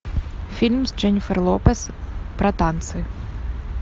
фильм с дженнифер лопез про танцы